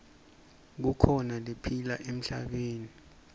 kukhona lephila emhlabeni